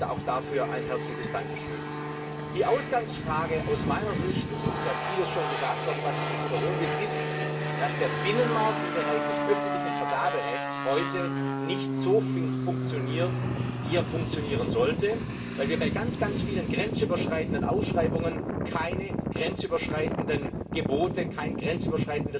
Auch dafür ein herzliches Dankeschön. Die Ausgangsfrage aus meiner Sicht es ist ja vieles schon gesagt worden, was ich nicht wiederholen will ist, dass der Binnenmarkt im Bereich des öffentlichen Vergaberechts heute nicht so funktioniert, wie er funktionieren sollte, weil wir bei sehr vielen grenzüberschreitenden Ausschreibungen keine grenzüberschreitenden Gebote bzw.